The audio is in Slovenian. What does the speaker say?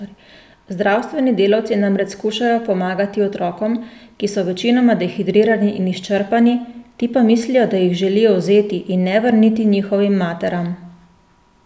Zdravstveni delvci namreč skušajo pomagati otrokom, ki so večinoma dehidrirani in izčrpani, ti pa mislijo, da jih želijo vzeti in ne vrniti njihovim materam.